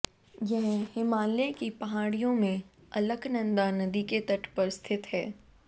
यह हिमालय की पहाड़ियों में अलकनंदा नदी के तट पर स्थित है